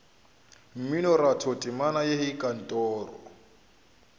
mminoratho temana ya hei kantoro